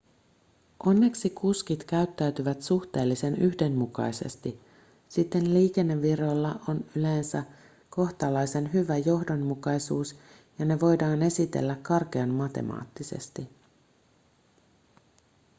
onneksi kuskit käyttäytyvät suhteellisen yhdenmukaisesti siten liikennevirroilla on yleensä kohtalaisen hyvä johdonmukaisuus ja ne voidaan esitellä karkean matemaattisesti